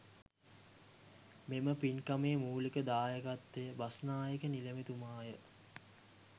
මෙම පින්කමේ මූලික දායකත්වය බස්නායක නිලමේතුමාය.